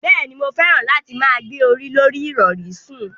Bẹ́ẹ̀ni, mo fẹ́ràn láti máa gbé orí lorí ìrọ̀rí sùn.